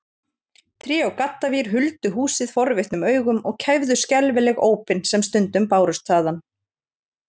Tré og gaddavír huldu húsið forvitnum augum og kæfðu skelfileg ópin sem stundum bárust þaðan.